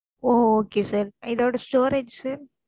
ஓ okay sir இதோட storage sir